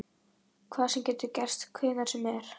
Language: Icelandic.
Hvað sem er getur gerst hvenær sem er.